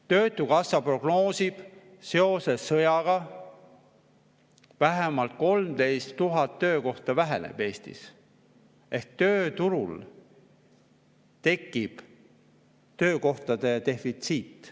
Töötukassa prognoosib, et seoses sõjaga kaob Eestis vähemalt 13 000 töökohta ehk tööturul tekib töökohtade defitsiit.